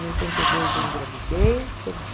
Em oitenta e dois eu engravidei, perdi.